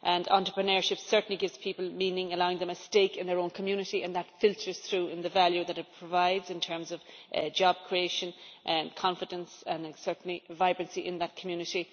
Entrepreneurship gives people meaning, allowing them a stake in their own community, and that filters through in the value that it provides in terms of job creation, confidence and certainly vibrancy in that community.